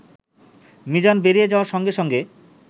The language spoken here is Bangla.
মিজান বেরিয়ে যাওয়ার সঙ্গে সঙ্গে